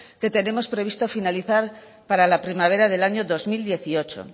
que tenemos previsto finalizar para la primavera del año dos mil dieciocho